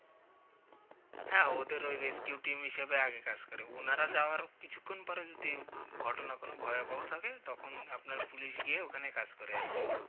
হ্যাঁ ওদের ওই rescue team হিসেবে আগে কাজ করে উনারা যাওয়ার কিছুক্ষন পর যদি ঘটনা কিছু ভয়াবহ থাকে তখন আপনার police গিয়ে ওখানে কাজ করে আর কি